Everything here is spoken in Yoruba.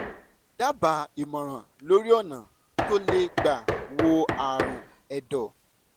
dábàá ìmọ̀ràn lórí ọ̀nà tó lè gbà wo ààrùn ẹ̀dọ̀